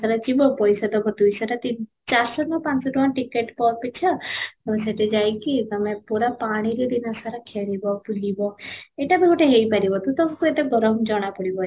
ସାରା ଥିବ ପଇସା ଦେବ ଦୁଇ ଶହ ନା ତିନ ଚାରି ଶହ ନା ପାଞ୍ଚ ଶହ ticket ଅପେକ୍ଷା ତୋମେ ସେଠି ଯାଇକି ତୋମେ ପୁରା ପାଣିରେ ଦିନ ସାରା ଖେଳିବ ବୁଲିବ ଏଇଟା ବି ଗୋଟେ ହେଇ ପାରିବ ତ ତମକୁ ଏତେ ଗରମ ଜଣା ପଡ଼ିବନି